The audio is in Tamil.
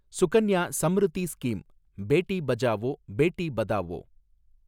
சுகன்யா சம்ரித்தி ஸ்கீம், பேட்டி பச்சாவோ பேட்டி பதாவோ